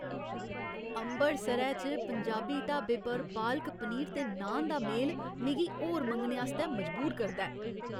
अमृतसरै च पंजाबी ढाबे पर पालक पनीर ते नान दा मेल मिगी होर मंगने आस्तै मजबूर करदा ऐ।